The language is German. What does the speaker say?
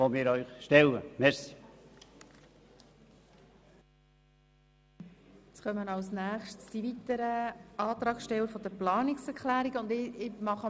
Als Nächstes erhalten die weiteren Antragssteller der Planungserklärungen das Wort.